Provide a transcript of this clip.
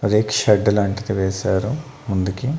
Rake shed లాంటిది వేశారు ముందుకి.